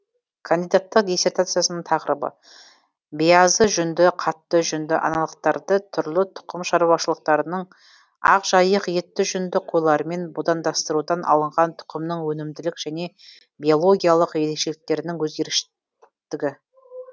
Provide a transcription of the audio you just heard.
кандидаттық диссертациясының тақырыбы биязы жүнді қатты жүнді аналықтарды түрлі тұқым шаруашылықтарының ақжайық етті жүнді қойларымен будандастырудан алынған тұқымның өнімділік және биологиялық ерекшеліктерінің өзгеріштігі